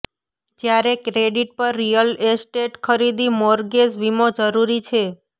જ્યારે ક્રેડિટ પર real estate ખરીદી મોર્ગેજ વીમો જરૂરી છે